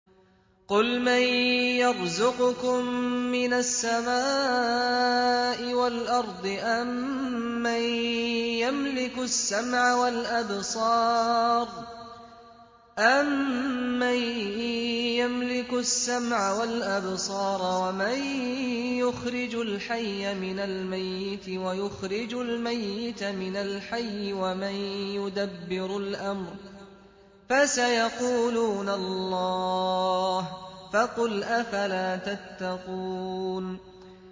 قُلْ مَن يَرْزُقُكُم مِّنَ السَّمَاءِ وَالْأَرْضِ أَمَّن يَمْلِكُ السَّمْعَ وَالْأَبْصَارَ وَمَن يُخْرِجُ الْحَيَّ مِنَ الْمَيِّتِ وَيُخْرِجُ الْمَيِّتَ مِنَ الْحَيِّ وَمَن يُدَبِّرُ الْأَمْرَ ۚ فَسَيَقُولُونَ اللَّهُ ۚ فَقُلْ أَفَلَا تَتَّقُونَ